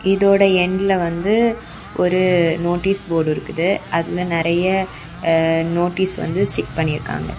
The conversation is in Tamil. இதோட எண்டுல வந்து ஒரு நோட்டீஸ் போர்டு இருக்குது அதுல நிறைய நோட்டீஸ் வந்து ஸ்டிக் பண்ணி இருக்காங்க.